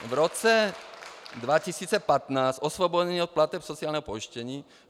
V roce 2015 osvobození od plateb sociálního pojištění.